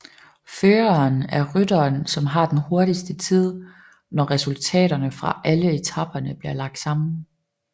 Føreren er rytteren som har den hurtigste tid når resultaterne fra alle etaperne bliver lagt sammen